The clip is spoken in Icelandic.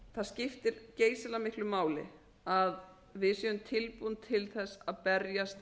það skiptir geysilega miklu máli að við séum tilbúin til þess að berjast